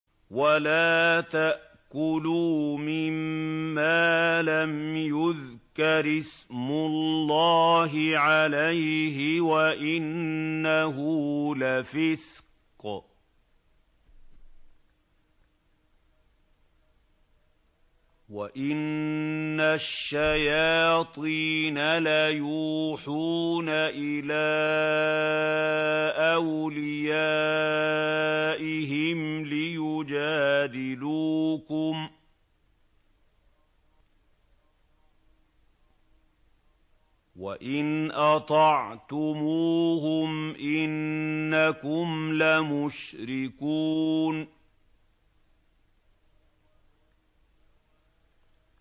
وَلَا تَأْكُلُوا مِمَّا لَمْ يُذْكَرِ اسْمُ اللَّهِ عَلَيْهِ وَإِنَّهُ لَفِسْقٌ ۗ وَإِنَّ الشَّيَاطِينَ لَيُوحُونَ إِلَىٰ أَوْلِيَائِهِمْ لِيُجَادِلُوكُمْ ۖ وَإِنْ أَطَعْتُمُوهُمْ إِنَّكُمْ لَمُشْرِكُونَ